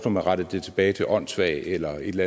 at man rettede det tilbage til åndssvag eller et